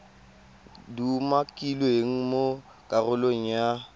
di umakilweng mo karolong ya